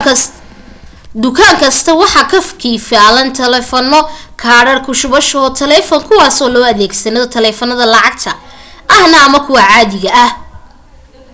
dukaan kasta waxa ka kiilan taleefano kaadhadh ku shubasho oo talefoon kuwaaso loo adeegsan taleefanada lacagta aha ama kuwa caadiga ah